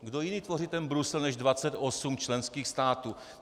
Kdo jiný tvoří ten Brusel než 28 členských států?